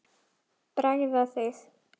Bræða þig.